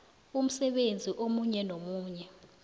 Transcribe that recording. umsebenzi omunye nomunye